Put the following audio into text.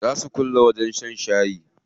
Zaa su kulle wajen shan shayi.